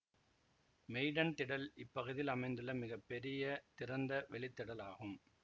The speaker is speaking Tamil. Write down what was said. மெய்டன் திடல் இப்பகுதியில் அமைந்துள்ள மிக பெரிய திறந்த வெளித் திடல் ஆகும்